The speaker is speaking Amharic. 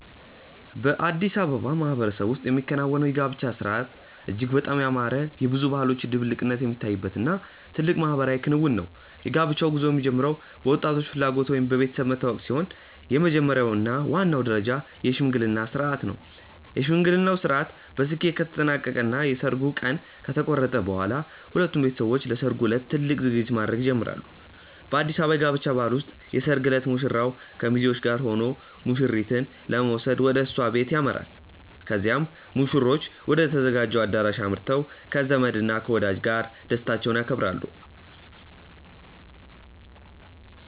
በአዲስ አበባ ማህበረሰብ ውስጥ የሚከናወነው የጋብቻ ሥርዓት እጅግ በጣም ያማረ፣ የብዙ ባህሎች ድብልቅነት የሚታይበት እና ትልቅ ማህበራዊ ክንውን ነው። የጋብቻው ጉዞ የሚጀምረው በወጣቶቹ ፍላጎት ወይም በቤተሰብ መተዋወቅ ሲሆን፣ የመጀመሪያው እና ዋናው ደረጃ የሽምግልና ሥርዓት ነው። የሽምግልናው ሥርዓት በስኬት ከተጠናቀቀ እና የሰርጉ ቀን ከተቆረጠ በኋላ፣ ሁለቱም ቤተሰቦች ለሠርጉ ዕለት ትልቅ ዝግጅት ማድረግ ይጀምራሉ። በአዲስ አበባ የጋብቻ ባህል ውስጥ የሰርግ ዕለት ሙሽራው ከሚዜዎቹ ጋር ሆኖ ሙሽሪትን ለመውሰድ ወደ እሷ ቤት ያመራል። ከዚያም ሙሽሮቹ ወደ ተዘጋጀው አዳራሽ አምርተው ከዘመድ እና ከወዳጅ ጋር ደስታቸውን ያከብራሉ።